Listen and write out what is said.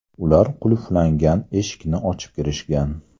Ular qulflangan eshikni ochib kirishgan.